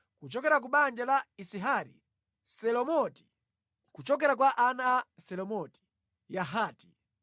Kuchokera ku banja la Izihari: Selomoti; kuchokera kwa ana a Selomoti: Yahati.